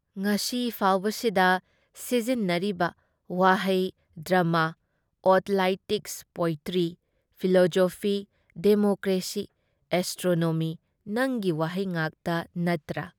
ꯉꯁꯤ ꯐꯥꯎꯕꯁꯤꯗ ꯁꯤꯖꯤꯟꯅꯔꯤꯕ ꯋꯥꯍꯩ-ꯗ꯭ꯔꯥꯃꯥ, athletics, poetry, philosophy, democracy, astronomy- ꯅꯪꯒꯤ ꯋꯥꯍꯩ ꯉꯥꯛꯇ ꯅꯠꯇ꯭ꯔꯥ?